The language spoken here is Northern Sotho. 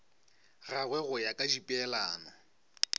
gagwe go ya ka dipeelano